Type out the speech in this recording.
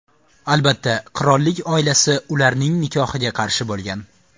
Albatta, qirollik oilasi ularning nikohiga qarshi bo‘lgan.